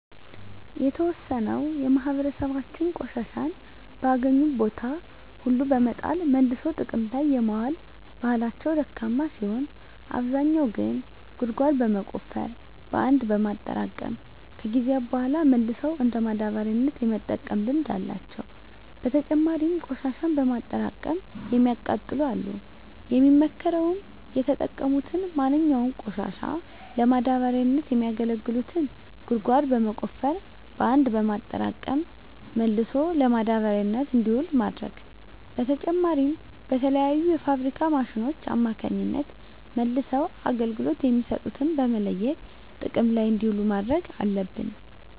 የተዎሰነው የማህበራሰባችን ቆሻሻን በአገኙት ቦታ ሁሉ በመጣል መልሶ ጥቅም ላይ የማዋል ባህላቸው ደካማ ሲሆን አብዛኛው ግን ጉድጓድ በመቆፈር በአንድ በማጠራቀም ከጊዜያት በሗላ መልሰው እንደ ማዳበሪያነት የመጠቀም ልምድ አላቸው። በተጨማሪም ቆሽሻን በማጠራቀም የሚያቃጥሉ አሉ። የሚመከረውም የተጠቀሙትን ማንኛውንም ቆሻሻ ለማዳበሪያነት የሚያገለግሉትን ጉድጓድ በመቆፈር በአንድ በማጠራቀም መልሶ ለማዳበሪያነት እንዲውል ማድረግ ነው። በተጨማሪም በተለያዩ የፋብሪካ ማሽኖች አማካኝነት መልሰው አገልግሎት የሚሰጡትን በመለየት ጥቅም ላይ እንዲውሉ ማድረግ አለብን።